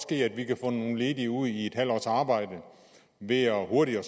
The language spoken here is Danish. ske at vi kan få nogle ledige ud i et halvt års arbejde ved hurtigere at